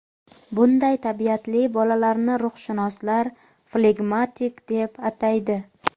Bunday tabiatli bolalarni ruhshunoslar flegmatiklar deb ataydi.